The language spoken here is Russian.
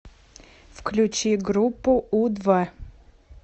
включи группу у два